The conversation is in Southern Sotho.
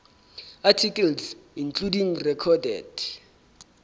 articles including recorded